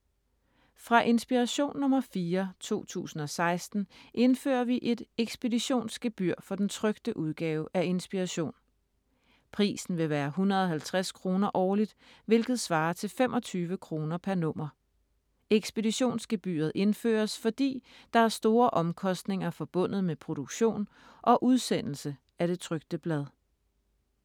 Fra Inspiration nr. 4, 2016 indfører vi et ekspeditionsgebyr for den trykte udgave af Inspiration. Prisen vil være 150 kr. årligt, hvilket svarer til 25 kr. pr. nummer. Ekspeditionsgebyret indføres fordi, der er store omkostninger forbundet med produktion og udsendelse af det trykte blad.